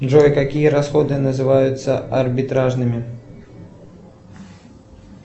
джой какие расходы называются арбитражными